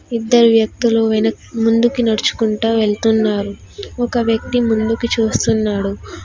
ఇద్దరు వ్యక్తులు వెనక్ ముందుకు నడుచుకుంటూ వెళ్తున్నారు ఒక వ్యక్తి ముందుకు చూస్తున్నాడు.